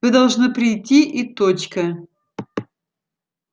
вы должны прийти и точка